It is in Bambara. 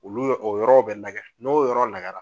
Olu yɔ o yɔrɔ bɛ lagɛ de, n'o yɔrɔ lagɛla